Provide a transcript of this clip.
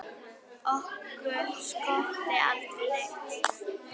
Okkur skorti aldrei neitt.